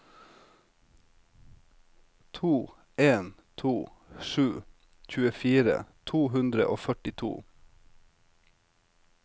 to en to sju tjuefire to hundre og førtito